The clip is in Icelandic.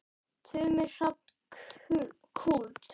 Tumi Hrafn Kúld.